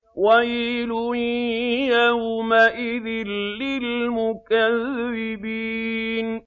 وَيْلٌ يَوْمَئِذٍ لِّلْمُكَذِّبِينَ